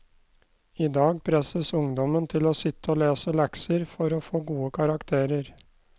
I dag presses ungdommen til å sitte og lese lekser for å få gode karakterer.